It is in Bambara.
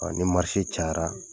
Ɔ ni cayara